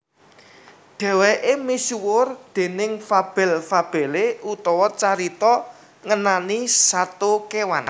Dhèwèké misuwur déning fabel fabelé utawa carita ngenani sato kéwan